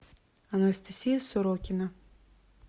анастасия сорокина